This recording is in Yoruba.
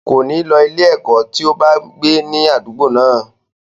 Kòní lọ sí ilé-ẹ̀kọ́ tí ó bá gbé ní àdúgbò náà.